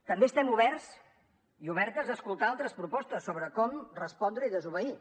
també estem oberts i obertes a escoltar altres propostes sobre com respondre i desobeir